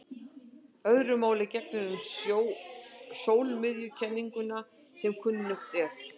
Öðru máli gegnir um sólmiðjukenninguna sem kunnugt er.